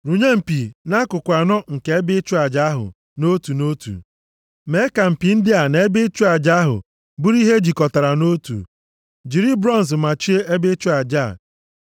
Rụnye mpi nʼakụkụ anọ nke ebe ịchụ aja ahụ nʼotu nʼotu. Mee ka mpi ndị a na ebe ịchụ aja ahụ bụrụ ihe e jikọtara nʼotu. Jiri bronz machie ebe ịchụ aja a.